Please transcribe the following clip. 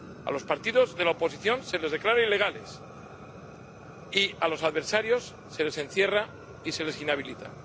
A los partidos de la oposición se les declara ilegales y a los adversarios se les encierra y se les inhabilita.